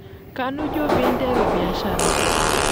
Kanu ijo pee interu biashara?